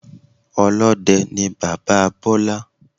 Olóde ni bàbáa Bólá